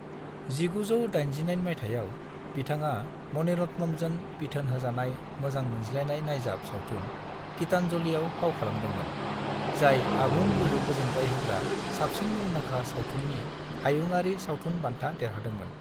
1989 माइथायाव, बिथाङा मणिरत्नमजों बिथोन होजानाय मोजां मोनज्लायनाय नायजाब सावथुन गीतांजलिआव फाव खालामदोंमोन, जाय आबुं गोहो गोजोनग्लायहोग्रा साबसिन मुंदांखा सावथुननि हायुङारि सावथुन बान्था देरहादोंमोन।